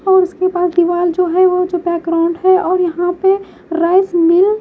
और उसके बाद दीवार जो है वो जो बैकग्राउंड है और यहां पे राइस में--